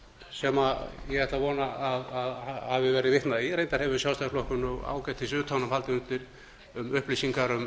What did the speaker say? sem ég ætla að vona að hafi verið vitnað í reyndar hefur sjálfstæðisflokkurinn ágætis utanumhald um upplýsingar um